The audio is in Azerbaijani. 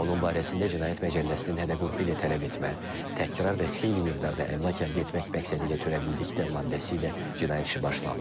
Onun barəsində cinayət məcəlləsinin hədə-qorxu ilə tələb etmə, təkrar və xeyli miqdarda əmlak əldə etmək məqsədilə törədildikdə maddəsi ilə cinayət işi başlanılıb.